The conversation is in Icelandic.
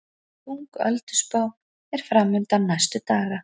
Þung ölduspá er framundan næstu daga